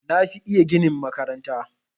Na fi iya ginin makaranta.